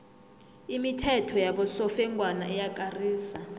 imithetho yabosofengwana iyakarisa